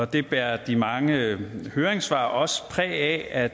det bærer de mange høringssvar også præg af